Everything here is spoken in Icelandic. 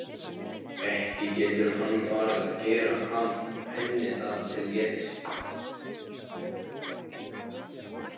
Ekki getur hann farið að gera henni það til geðs?